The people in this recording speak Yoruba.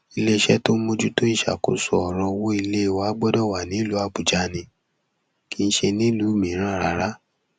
iléeṣẹ tó ń mójútó ìṣàkóso ọrọ owó ilé wa gbọdọ wà nílùú àbújá ni kì í ṣe nílùú mìíràn rárá